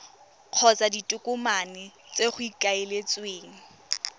kgotsa ditokomane tse go ikaeletsweng